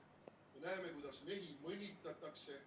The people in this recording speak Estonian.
... me näeme, kuidas mehi mõnitatakse,